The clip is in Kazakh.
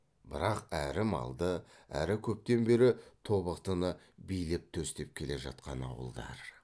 бірақ әрі малды әрі көптен бері тобықтыны билеп төстеп келе жатқан ауылдар